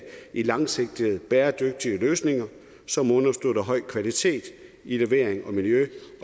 i langsigtede bæredygtige løsninger som understøtter høj kvalitet i levering og miljø